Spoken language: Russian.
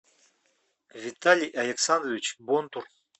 виталий александрович бонтур